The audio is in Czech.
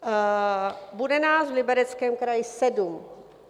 Bude nás v Libereckém kraji sedm.